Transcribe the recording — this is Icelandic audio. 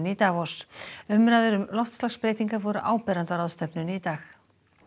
í Davos umræður um loftslagsbreytingar voru áberandi á ráðstefnunni í dag